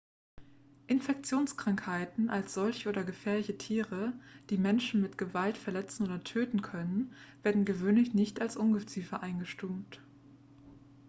infektionskrankheiten als solche oder gefährliche tiere die menschen mit gewalt verletzen oder töten können werden gewöhnlich nicht als ungeziefer eingestuft